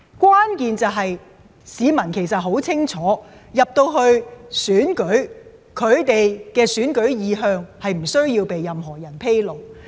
關鍵是，市民很清楚進入投票站後，他們的投票意向不須向任何人披露。